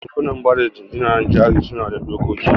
Bankunan bada jingina jari suna da dokoki.